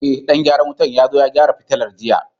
Ee, dan gyaran wutar ya zo ya gyara fitilar jiya.